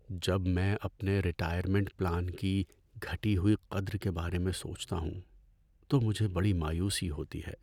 جب میں اپنے ریٹائرمنٹ پلان کی گھٹی ہوئی قدر کے بارے میں سوچتا ہوں تو مجھے بڑی مایوسی ہوتی ہے۔